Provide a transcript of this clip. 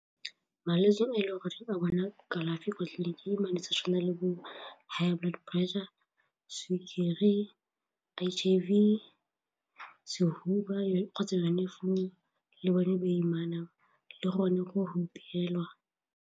Malwetse a e leng gore ba bona kalafi kwa tleliniking tshwana le bo high blood pressure, sukiri, H_I_V, sehuba kgotsa yone flu le bone boimana le gone go hupelwa.